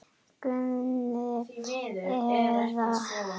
Guðni eða Guðný.